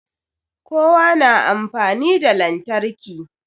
Kowa na amfani da lantarki